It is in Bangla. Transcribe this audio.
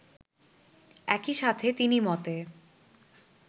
একই সাথে তিনি মতে